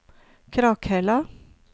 Krakhella